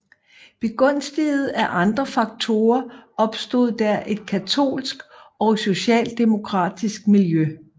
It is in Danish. Begunstiget af andre faktorer opstod der et katolsk og socialdemokratisk miljø